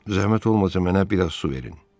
Zəhmət olmasa mənə biraz su verin.